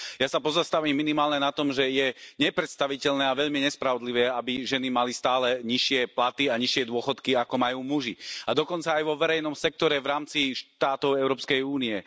Ja sa pozastavím minimálne na tom, že je nepredstaviteľné a veľmi nespravodlivé, aby ženy mali stále nižšie platy a nižšie dôchodky, ako majú muži, a dokonca aj vo verejnom sektore v rámci štátov Európskej únie.